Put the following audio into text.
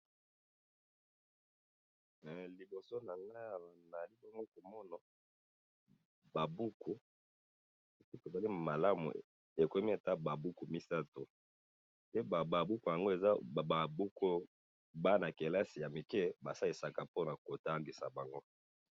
Oyo eza ba buku ya bana kelasi po na kotanga.